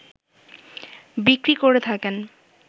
বিক্রি করে থাকেন